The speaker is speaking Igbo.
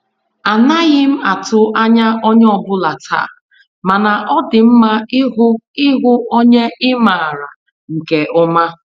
Anaghị m atụ ányá onyé ọ bụla taa, mana ọ dị mma ịhụ ihu onye ị maara nke ọma.